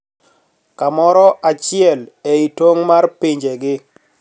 Kamoro achiel e I tong` mar pinjegi